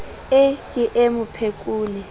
e ke e mo phekole